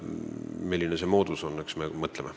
Milline see moodus on, eks me mõtleme.